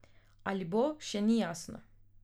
Ali bo, še ni jasno.